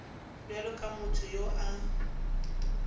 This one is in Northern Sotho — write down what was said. bjalo ka motho yo a